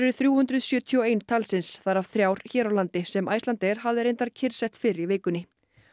þrjú hundruð sjötíu og ein talsins þar af þrjár hér á landi sem Icelandair hafði reyndar kyrrsett fyrr í vikunni